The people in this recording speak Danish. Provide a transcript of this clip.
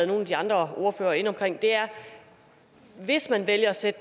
nogle af de andre ordførere inde omkring er hvis man vælger at sætte